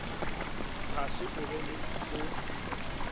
ga se o be o